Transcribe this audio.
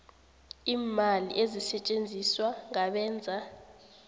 iimali ezisetjenziswa ngabenza